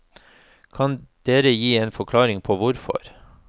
Kan dere gi en forklaring på hvorfor?